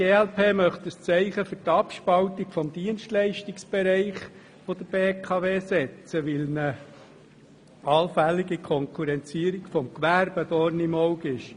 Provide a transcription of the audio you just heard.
Die glp wiederum möchte ein Zeichen für die Abspaltung des Dienstleistungsbereichs der BKW setzen, weil ihr eine allfällige Konkurrenzierung des Gewerbes ein Dorn im Auge ist.